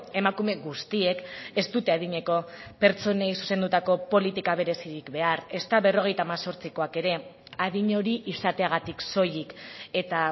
emakume guztiek ez dute adineko pertsonei zuzendutako politika berezirik behar ezta berrogeita hemezortzikoak ere adin hori izateagatik soilik eta